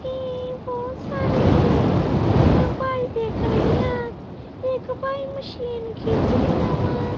ਇਹ ਬੋਹੁਤ ਸਾਰੇ ਭਾਈ ਦਿੱਖ ਰਹੇਂ ਆ ਇੱਕ ਭਾਈ ਮਸ਼ੀਨ ਖਿੰਚ ਰੇਆਂ ਵਾ।